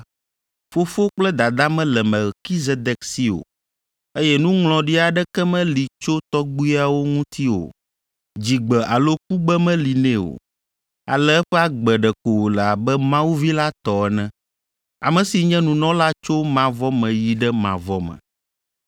Fofo kple dada mele Melkizedek si o, eye nuŋlɔɖi aɖeke meli tso tɔgbuiawo ŋuti o. Dzigbe alo kugbe meli nɛ o, ale eƒe agbe ɖeko wòle abe Mawu Vi la tɔ ene, ame si nye nunɔla tso mavɔ me yi ɖe mavɔ me.